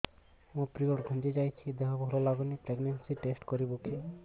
ମୋ ପିରିଅଡ଼ ଘୁଞ୍ଚି ଯାଇଛି ଦେହ ଭଲ ଲାଗୁନି ପ୍ରେଗ୍ନନ୍ସି ଟେଷ୍ଟ କରିବୁ କି